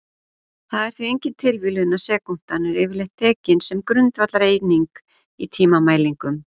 Það er því engin tilviljun að sekúndan er yfirleitt tekin sem grundvallareining í tímamælingum.